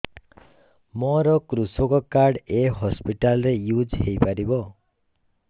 ମୋର କୃଷକ କାର୍ଡ ଏ ହସପିଟାଲ ରେ ୟୁଜ଼ ହୋଇପାରିବ